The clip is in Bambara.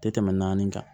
Tɛ tɛmɛ naani kan